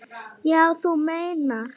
Já, þú meinar.